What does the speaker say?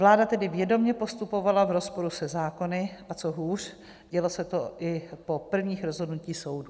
Vláda tedy vědomě postupovala v rozporu se zákony, a co hůř, dělo se to i po prvních rozhodnutích soudu.